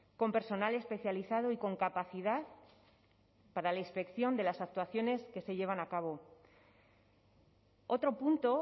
con personal especializado y con capacidad para la inspección de las actuaciones que se llevan a cabo otro punto